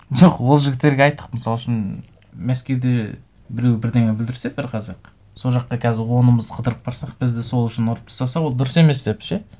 жоқ ол жігіттерге айттық мысал үшін мәскеуде біреу бірдеңе бүлдірсе бір қазақ сол жаққа қазір онымыз қыдырып барсақ бізді сол үшін ұрып тастаса ол дұрыс емес деп ше